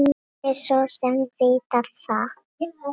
Mátti svo sem vita það.